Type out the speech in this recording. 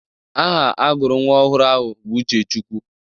Aha agụrụ nwa ọhụrụ ahụ bụ Uchechukwu.